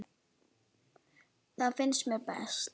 Það finnst mér best.